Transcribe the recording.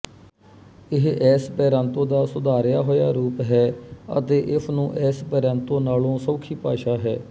ਇਹ ਐੱਸਪੈਰਾਂਤੋ ਦਾ ਸੁਧਾਰਿਆ ਹੋਇਆ ਰੂਪ ਹੈ ਅਤੇ ਇਸਨੂੰ ਐੱਸਪੈਰਾਂਤੋ ਨਾਲੋਂ ਸੌਖੀ ਭਾਸ਼ਾ ਹੈ